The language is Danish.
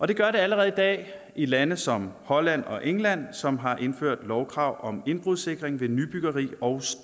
det gør det allerede i dag i lande som holland og england som har indført lovkrav om indbrudssikring ved nybyggeri og